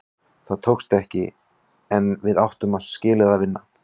Það tókst ekki, en við áttum skilið að vinna.